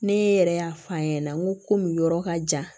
Ne yɛrɛ y'a f'a ɲɛnɛ n komi yɔrɔ ka jan